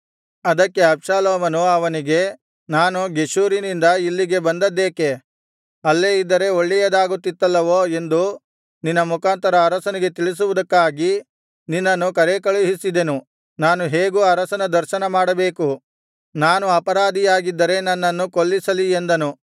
ಅದಕ್ಕೆ ಅಬ್ಷಾಲೋಮನು ಅವನಿಗೆ ನಾನು ಗೆಷೂರಿನಿಂದ ಇಲ್ಲಿಗೆ ಬಂದದ್ದೇಕೆ ಅಲ್ಲೇ ಇದ್ದರೆ ಒಳ್ಳೆಯದಾಗುತ್ತಿತ್ತಲ್ಲವೋ ಎಂದು ನಿನ್ನ ಮುಖಾಂತರ ಅರಸನಿಗೆ ತಿಳಿಸುವುದಕ್ಕಾಗಿ ನಿನ್ನನ್ನು ಕರೇಕಳುಹಿಸಿದೆನು ನಾನು ಹೇಗೂ ಅರಸನ ದರ್ಶನ ಮಾಡಬೇಕು ನಾನು ಅಪರಾಧಿಯಾಗಿದ್ದರೆ ನನ್ನನ್ನು ಕೊಲ್ಲಿಸಲಿ ಎಂದನು